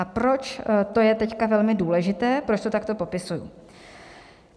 A proč, to je teď velmi důležité, proč to takto popisuji.